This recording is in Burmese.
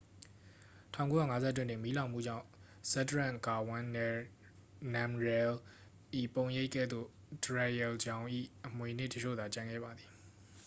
1951 တွင် မီးလောင်မှုကြောင့် ဇက်ဒရန့် ဂါဝန်း နမ်ရဲလ်၏ ပုံရိပ်ကဲ့သို့ ဒရက်ရဲလ်ဂျောင်၏ အမွေအနှစ်အချို့သာ ကျန်ခဲ့ပါသည်